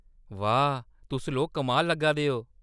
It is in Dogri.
वाह्, तुस लोक कमाल लग्गा दे ओ।